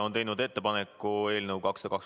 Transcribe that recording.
Kohtume järgmisel nädalal.